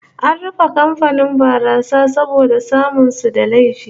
An rufe kamfanin barasa saboda samun su da laifi